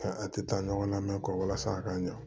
a tɛ taa ɲɔgɔn la mɛ kɔwasa a ka ɲa